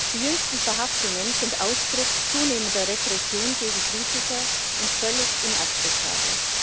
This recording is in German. Die jüngsten Verhaftungen sind Ausdruck zunehmender Repression gegen Kritiker und völlig inakzeptabel.